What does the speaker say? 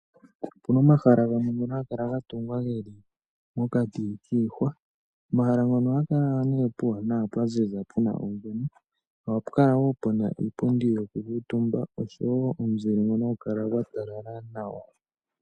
Opuna omahala gamwe ngono haga kala ga tungwa geli mokati kiihwa. Omahala ngono ohaga kala puuwanawa pwa ziza puna ongwena. Ohapu kalawo puna iipundi yoku kuuntumba oshowo omuzile ngono hagu kala gwa talala nawa.